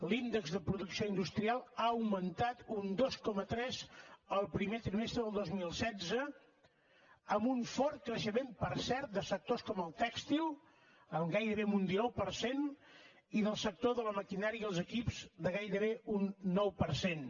l’índex de producció industrial ha augmentat un dos coma tres el primer trimestre del dos mil setze amb un fort creixement per cert de sectors com el tèxtil amb gairebé un dinou per cent i del sector de la maquinària i els equips de gairebé un nou per cent